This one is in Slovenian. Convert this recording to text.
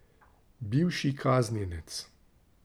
Bivši kaznjenec.